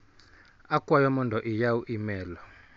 Akwayo mondo iyaw imel.